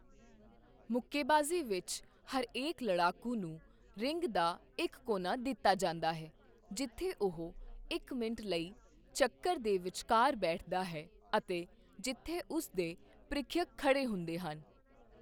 ਮੁੱਕੇਬਾਜ਼ੀ ਵਿੱਚ, ਹਰੇਕ ਲੜਾਕੂ ਨੂੰ ਰਿੰਗ ਦਾ ਇੱਕ ਕੋਨਾ ਦਿੱਤਾ ਜਾਂਦਾ ਹੈ ਜਿੱਥੇ ਉਹ ਇੱਕ ਮਿੰਟ ਲਈ ਚੱਕਰ ਦੇ ਵਿਚਕਾਰ ਬੈਠਦਾ ਹੈ ਅਤੇ ਜਿੱਥੇ ਉਸ ਦੇ ਪ੍ਰੀਖਿਅਕ ਖੜ੍ਹੇ ਹੁੰਦੇ ਹਨ।